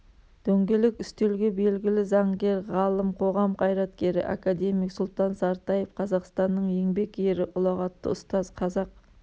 дөңгелек үстелге белгілі заңгер ғалым қоғам қайраткері академик сұлтан сартаев қазақстанның еңбек ері ұлағаты ұстаз қазақ